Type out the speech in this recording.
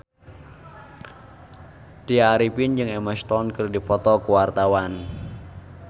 Tya Arifin jeung Emma Stone keur dipoto ku wartawan